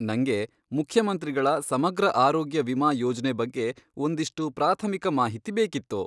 ನಂಗೆ ಮುಖ್ಯಮಂತ್ರಿಗಳ ಸಮಗ್ರ ಆರೋಗ್ಯ ವಿಮಾ ಯೋಜ್ನೆ ಬಗ್ಗೆ ಒಂದಿಷ್ಟು ಪ್ರಾಥಮಿಕ ಮಾಹಿತಿ ಬೇಕಿತ್ತು.